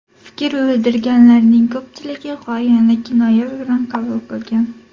Fikr bildirganlarning ko‘pchiligi g‘oyani kinoya bilan qabul qilgan.